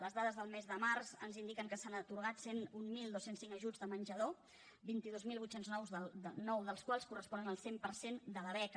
les dades del mes de març ens indiquen que s’han atorgat cent i mil dos cents i cinc ajuts de menjador vint dos mil vuit cents i nou dels quals corresponen al cent per cent de la beca